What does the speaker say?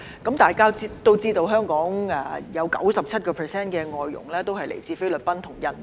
大家也知道，香港有 97% 的外傭來自菲律賓和印尼。